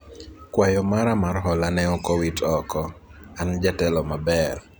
kwayo mara mar hola ne ok owit oko, an jatelo maber